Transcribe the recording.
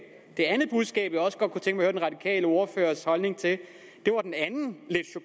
det andet budskab jeg også godt kunne tænke at den radikale ordførers holdning til